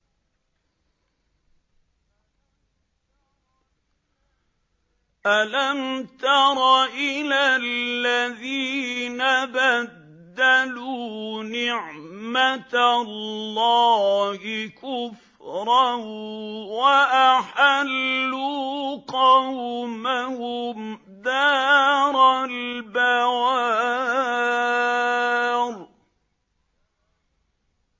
۞ أَلَمْ تَرَ إِلَى الَّذِينَ بَدَّلُوا نِعْمَتَ اللَّهِ كُفْرًا وَأَحَلُّوا قَوْمَهُمْ دَارَ الْبَوَارِ